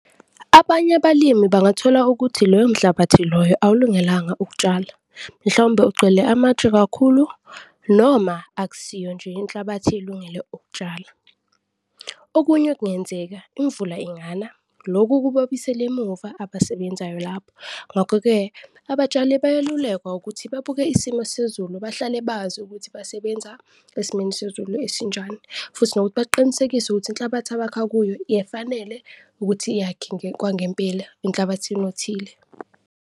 Abanye abalimi bangathola ukuthi loyo mhlabathi loyo awulungelanga ukutshala, mhlawumbe ugcwele amatshe kakhulu noma akusiyo nje inhlabathi elungele ukutshala. Okunye okungenzeka, imvula ingana, loku kuba buyisela emuva abasebenzayo lapho ngakho-ke abatshali bayalulekwa ukuthi babuke isimo sezulu, bahlale bazi ukuthi basebenza esimeni sezulu esinjani. Futhi nokuthi baqinisekise ukuthi inhlabathi abakha kuyo, efanele ukuthi yakhe okwangempela enhlabathini othile.